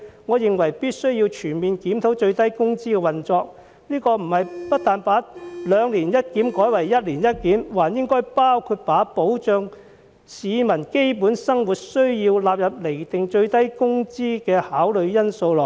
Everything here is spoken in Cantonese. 我認為必須全面檢討最低工資制度的運作，不但應把兩年一檢改為一年一檢，還應把保障市民基本生活需要納入釐定最低工資的考慮因素內。